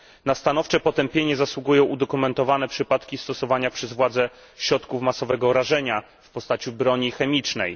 Na stanowcze potępienie zasługują udokumentowane przypadki stosowania przez władze środków masowego rażenia w postaci broni chemicznej.